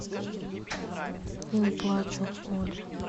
не плачу молли